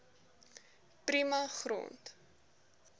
prima grond